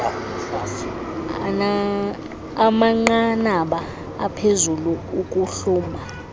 amanqanaba aphezulu okuhluma